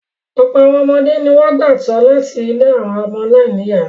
Ọ̀pọ̀ àwọn ọmọdé ni wọ́n gbà tọ́ láti ilé àwọn ọmọ aláìníìyá.